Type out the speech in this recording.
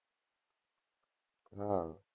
હમ